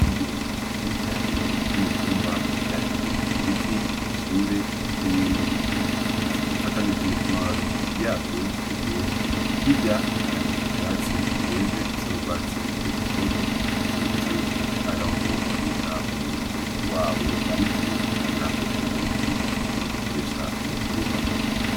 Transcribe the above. Iguri vyincane vy'imitumba vyandekiye ku biti bishinze n'ibindi bikize bifatanije amababii yavyo yume hirya hari ivyatsi birevye bisarwatsi rutoto n'ikimenyetso yuko ari aho babika umuyumbu wabo banekiye kugira hazova mu imbuto baowe kurisha mukurima.